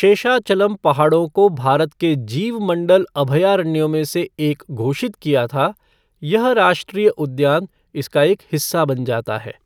शेषाचलम पहाड़ों को भारत के जीवमंडल अभयारण्यों में से एक घोषित किया था, यह राष्ट्रीय उद्यान इसका एक हिस्सा बन जाता है।